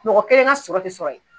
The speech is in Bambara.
Mɔgɔ kelen ka sɔrɔ tɛ sɔrɔ ye.